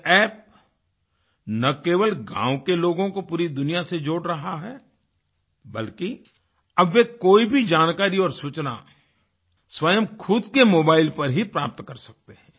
ये App न केवल गाँव के लोगों को पूरी दुनिया से जोड़ रहा है बल्कि अब वे कोई भी जानकारी और सूचना स्वयं खुद के मोबाइल पर ही प्राप्त कर सकते हैं